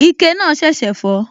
Ike náà ṣẹ̀ṣẹ̀ fọ́